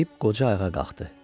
Deyib qoca ayağa qalxdı.